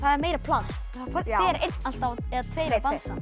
er meira pláss þá fer einn alltaf eða tveir að dansa